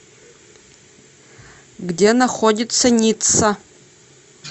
где находится ницца